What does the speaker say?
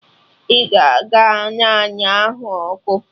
Ị ga-agba naanụ ahụ ọkụ!